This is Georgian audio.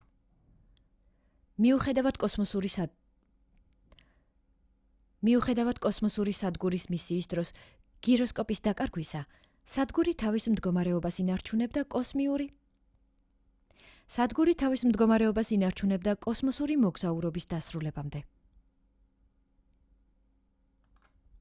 მიუხედავად კოსმოსური სადგურის მისიის დროს გიროსკოპის დაკარგვისა სადგური თავის მდგომარეობას ინარჩუნებდა კოსმოსური მოგზაურობის დასრულებამდე